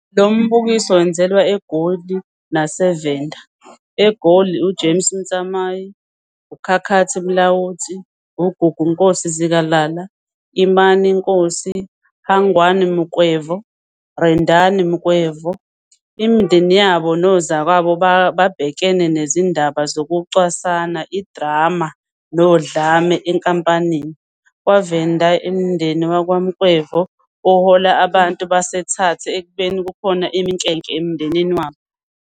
Lo mbukiso wenzelwa eGoli naseVenda. EGoli uJames Motsamai, Khakhathi Mulaudzi, Gugu Nkosi-Zikalala, Imani Nkosi, Hangwani Mukhwevho, Rendani Mukhwevho, imindeni yabo nozakwabo babhekene nezindaba zokucwasana, idrama nodlame ezinkampanini. KwaVenda umndeni wakwaMukhwevho uhola abantu baseThathe ekubeni kukhona iminkenke emndenini wabo.